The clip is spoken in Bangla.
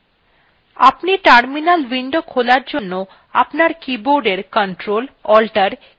আপনি terminal window খোলার জন্য আপনার কীবোর্ডের ctrl alt t কীতিনটি একসাথে টিপতে পারেন